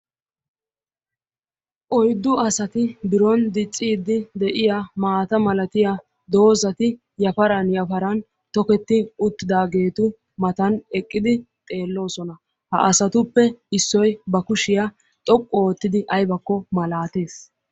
Oyddu asati biron dicciiddi de'iya maata milatiya doozati yafaran yafaran toketti uttidaageetu matan eqqidi xeelloosona. Ha asatuppe issoy ba kushiya xoqqu oottidi aybakko malaatees.